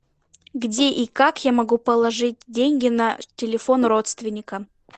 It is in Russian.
где и как я могу положить деньги на телефон родственника